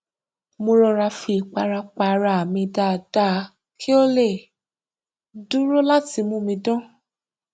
mo rọra fi ìpara pa ara mi dáadáa kí ó lè dúró láti mú mi dán